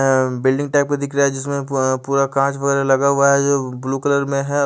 अ building type का दिखरा है जिसमे पु पूरा कांच वगेरा लगा हुआ है जो ब्लू कलर में है।